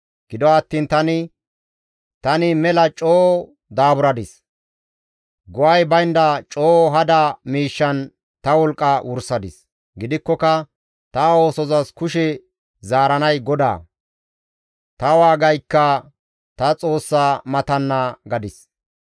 Gido attiin tani, «Tani mela coo daaburadis; go7ay baynda coo hada miishshan ta wolqqa wursadis; gidikkoka ta oosozas kushe zaaranay GODAA; ta waagaykka ta Xoossa matanna» gadis.